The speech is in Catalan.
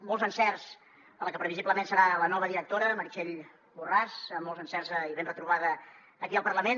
molts encerts a la que previsiblement serà la nova directora meritxell borràs molts encerts i ben retrobada aquí al parlament